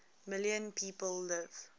million people live